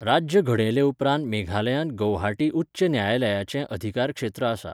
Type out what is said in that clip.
राज्य घडयले उपरांत मेघालयांत गौहाटी उच्च न्यायालयाचे अधिकारक्षेत्र आसा.